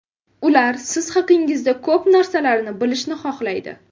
Ular siz haqingizda ko‘p narsalarni bilishni xohlaydi.